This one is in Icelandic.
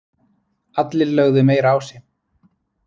Allir lögðu meira á sig